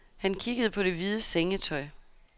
Han kiggede på det hvide sengetøj.